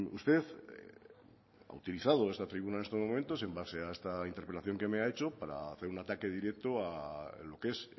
usted ha utilizado esta tribuna en estos momentos en base a esta interpelación que me ha hecho para hacer un ataque directo a lo que es